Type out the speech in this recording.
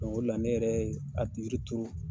o de la ne yɛrɛ ye a yiri turru.